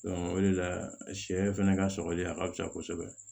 o de la sɛ fɛnɛ ka sɔkɔli a ka fisa kosɛbɛ